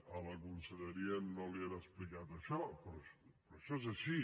a la conselleria no li han explicat això però això és així